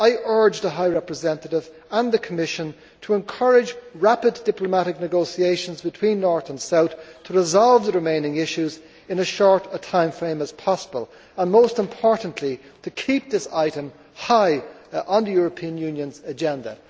I urge the High Representative and the Commission to encourage rapid diplomatic negotiations between North and South to resolve the remaining issues in as short a timeframe as possible and, most importantly, to keep this item high on the European Union's agenda.